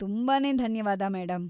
ತುಂಬಾನೇ ಧನ್ಯವಾದ, ಮೇಡಂ!